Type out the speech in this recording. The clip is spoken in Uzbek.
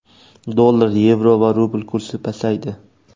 Dollar, yevro va rubl kursi pasaydi.